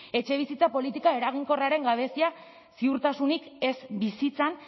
etxebizitza politika eraginkorraren gabezia ziurtasunik ez bizitzan